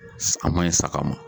An ma ɲi saga ma